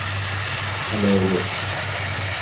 galeyo